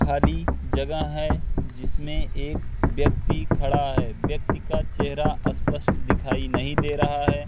खाली जगह है जिसमें एक व्यक्ति खड़ा है व्यक्ति का चेहरा अस्पष्ट दिखाई नहीं दे रहा है।